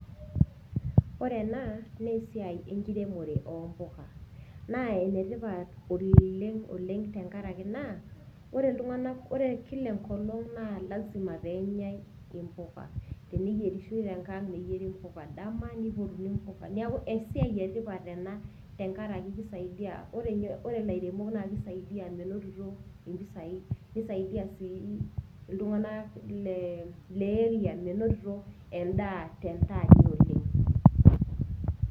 Ore ena naa esiai enkiremore o mpuka. Naa ene tipat oleng' oleng' tenkaraki naa, ore iltung'ana, ore kila enkolong' naa lasima pee enyai impuka, teniyierishoi tenkang', neyieri impuka dama, neipotini impuka, neaku esiai e tipat ena, tenkaraki keisaidia, ore ninye ilairemok naa keisaidia meinotito impesai , neisaidiaa sii iltung'ana le area meinotito endaa tenkata oleng'.